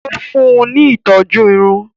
Ó fún un ní ìtọ́jú Irun